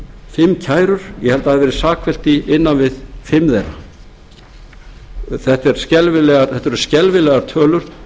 fimm kærur ég held að það hafi verið sakfellt í innan við fimm þeirra þetta er skelfilegar tölur